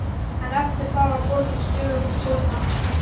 En eftir það var borgin stöðugt skotmark.